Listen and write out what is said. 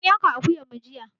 An yanka akuyan mu jiya.